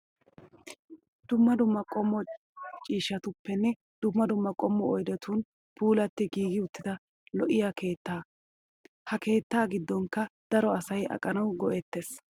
Dumma dumma qommo ciishatuppenne dumma dumma qommo oyidetun puulatti giigi uttida lo"iyaa keettaa. Ha keettaa giddonkka daro asayi aqanawu go"ettes.